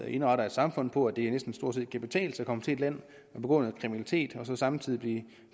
indrette et samfund på at det næsten stort set kan betale sig at komme til et land begå noget kriminalitet og så samtidig blive